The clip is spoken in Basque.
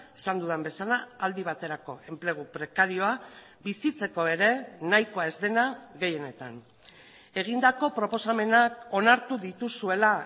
esan dudan bezala aldi baterako enplegu prekarioa bizitzeko ere nahikoa ez dena gehienetan egindako proposamenak onartu dituzuela